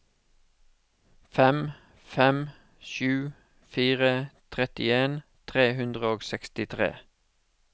fem fem sju fire trettien tre hundre og sekstitre